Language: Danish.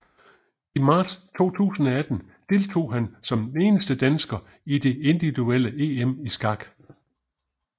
I marts 2018 deltog han som eneste dansker i det individuelle EM i skak